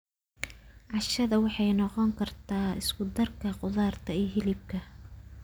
Cashada waxay noqon kartaa isku darka khudaarta iyo hilibka.